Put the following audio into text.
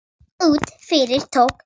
Út yfir tók þegar